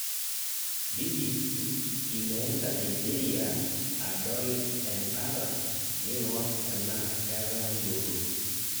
BBC Imeenda Nigeria adol endala ning'or enaa ketaa yioloti